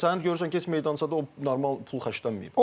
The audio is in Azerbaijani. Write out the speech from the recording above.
Yəni sənin görürsən ki, heç meydançada o normal pul xərclənməyib.